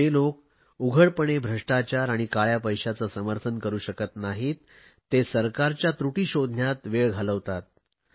जे लोक उघडपणे भ्रष्टाचार आणि काळया पैशाचे समर्थन करु शकत नाहीत ते सरकारच्या त्रुटी शोधण्यात वेळ घालवतात